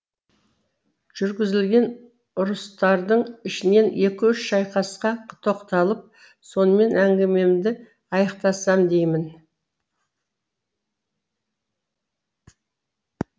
жүргізілген ұрыстардың ішінен екі үш шайқасқа тоқталып сонымен әңгімемді аяқтасам деймін